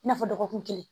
I n'a fɔ dɔgɔkun kelen